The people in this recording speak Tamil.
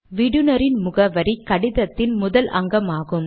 விடுனரின் முகவரி கடிதத்தின் முதல் அங்கமாகும்